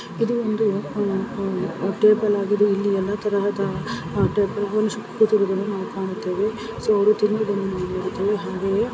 ಇದೊಂದು ಟೇಬಲ್ ಆಗಿದೆ ಎಲ್ಲಾ ತರದವರು ಕುಳಿತಿದ್ದಾರೆ